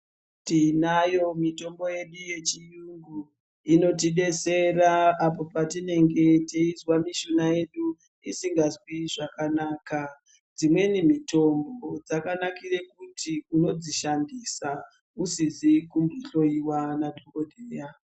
Tinayo mitombo yedu yechiyungu inotidetsera apo patinenge teizwa mishuna yedu isingazwi zvakanaka. Dzimweni mitombo dzakanikire kuti unodzishandisa usizi kuhloyiwa nadhokodheya.